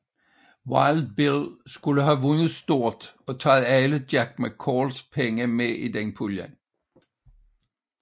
Wild Bill skulle have vundet stort og taget alle Jack McCalls penge med i den pulje